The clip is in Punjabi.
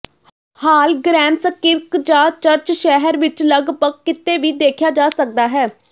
ਹਾਲਗ੍ਰੈਮਸਕਿਰਕਜਾ ਚਰਚ ਸ਼ਹਿਰ ਵਿਚ ਲਗਭਗ ਕਿਤੇ ਵੀ ਦੇਖਿਆ ਜਾ ਸਕਦਾ ਹੈ